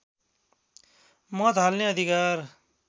मत हाल्ने अधिकार